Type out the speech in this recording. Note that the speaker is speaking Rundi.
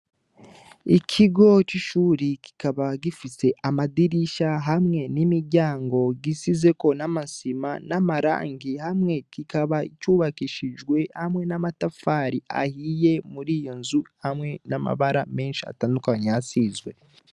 Ikigo c'ishure kikaba gifise amadirisha hamwe n'imiryango. Gisizeko n'amasima n'amarangi hamwe. Kikaba cubakishijwe hamwe n'amatafari ahiye muri iyo nzu hamwe n'amabara menshi atandukanye hashizwe.